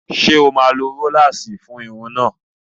Ṣé o máa lo róláàsì fún irun náà?